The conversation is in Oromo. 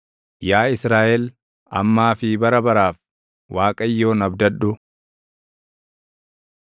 Yaa Israaʼel, ammaa fi bara baraaf, Waaqayyoon abdadhu.